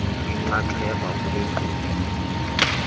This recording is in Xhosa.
inxaxheba kule nkqubo